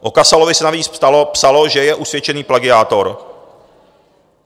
O Kasalovi se navíc psalo, že je usvědčený plagiátor.